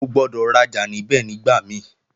O gbọ́dọ̀ rajà níbẹ̀ nígbà mí